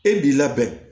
E b'i labɛn